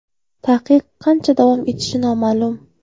Taqiq qancha davom etishi noma’lum.